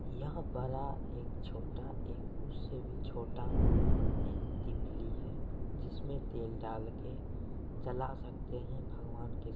यह बड़ा एक छोटा एक उससे भी छोटा ये दीपली है जिसमे तेल डाल के जला सकते है भगवान के --